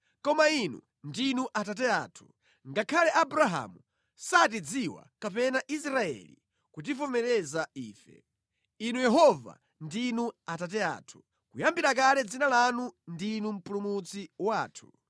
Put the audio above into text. Koma Inu ndinu Atate athu, ngakhale Abrahamu satidziwa kapena Israeli kutivomereza ife; Inu Yehova, ndinu Atate athu, kuyambira kale dzina lanu ndinu Mpulumutsi wathu.